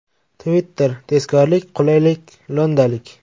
Twitter, tezkorlik, qulaylik, lo‘ndalik.